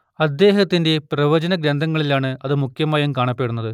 അദ്ദേഹത്തിന്റെ പ്രവചനഗ്രന്ഥങ്ങളിലാണ് അത് മുഖ്യമായും കാണപ്പെടുന്നത്